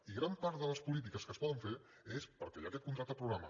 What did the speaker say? i gran part de les polítiques que es poden fer és perquè hi ha aquest contracte programa